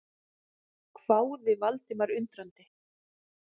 hváði Valdimar undrandi.